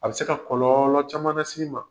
A be se ka kɔlɔɔlɔ caman nas'i ma.